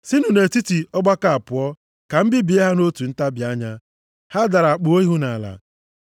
“Sinụ nʼetiti ọgbakọ a pụọ ka m bibie ha nʼotu ntabi anya.” Ha dara kpuo ihu nʼala.